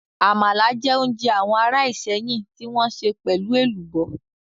Àmàlà jẹ́ oúnjẹ àwọn ará Ìsẹ́yìn tí wọ́n sè pelu Ẹ̀lùbọ́